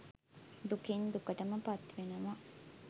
දුකින් දුකටම පත්වෙනවා